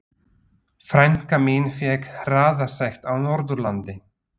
Frænka mín fékk hraðasekt á Norðurlandi.